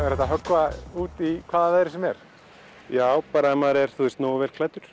er hægt að höggva út í hvaða veðri sem er já ef maður er nógu vel klæddur